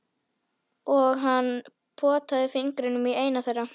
Og hann potaði fingrinum í eina þeirra.